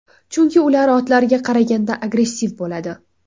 Chunki ular otlarga qaraganda agressiv bo‘ladi.